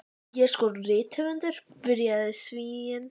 Ég er sko rithöfundur, byrjaði Svíinn.